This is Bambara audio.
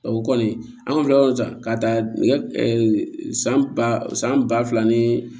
O kɔni an filɛ ka taa nɛgɛ san ba san ba fila ni